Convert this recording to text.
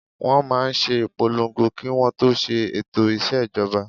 Wọ́n máa n ṣe ìpolongo kí wọ́n tó ṣe ètò ìṣèjọba